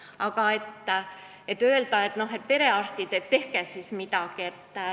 Aga ei saa ka öelda perearstidele, et tehke siis midagi.